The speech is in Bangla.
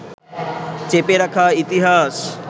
চেপে রাখা ইতিহাস